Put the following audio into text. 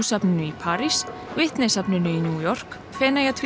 safninu í París Whitney safninu í New York